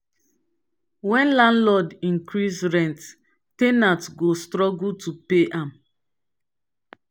when landlord increase rent ten ant go struggle to pay am